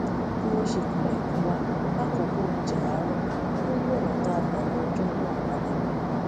bí wón ṣe kanlèkùn wa lákòókò oúnjẹ àárò ló yí ònà tá a gbà lo ọjó náà pa dà